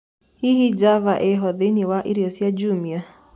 hĩhĩ java iho thĩĩni wa ĩrĩo cĩa jumia